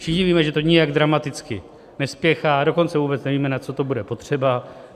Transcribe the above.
Všichni víme, že to nijak dramaticky nespěchá, dokonce vůbec nevíme, na co to bude potřeba.